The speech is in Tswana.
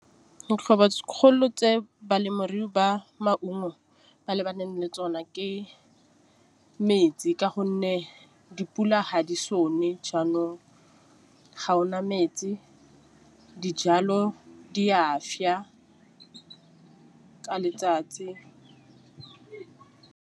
Tse balemirui ba maungo ba lebaneng le tsona ke metsi ka gonne dipula ga di sone jaanong ga ona metsi. Dijalo di a swa ka letsatsi.